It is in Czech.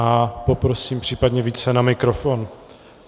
A poprosím případně více na mikrofon.